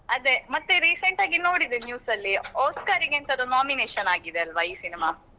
ಅದೆ ಮತ್ತೆ recent ಆಗಿ ನೋಡಿದೆ news ಅಲ್ಲಿ Oscar ಗೆ ಎಂತದೋ nomination ಆಗಿದೆ ಅಲ್ವ ಈ cinema .